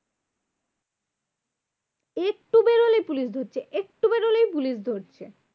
একটু বেরোলেই পুলিশ ধরছে। একটু বেরোলেই পুলিশ ধরছে।